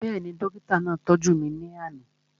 Bẹ́ẹ̀ni, dókítà náà tọ́jú mi ní àná